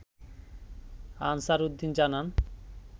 answer Uddin জানান